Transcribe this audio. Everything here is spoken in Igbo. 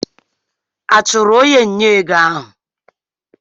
A chụrụ onye nnye ego ego?